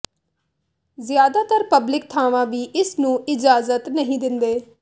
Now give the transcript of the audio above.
ਜ਼ਿਆਦਾਤਰ ਪਬਲਿਕ ਥਾਵਾਂ ਵੀ ਇਸ ਨੂੰ ਇਜਾਜ਼ਤ ਨਹੀਂ ਦਿੰਦੇ